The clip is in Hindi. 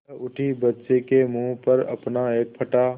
वह उठी बच्चे के मुँह पर अपना एक फटा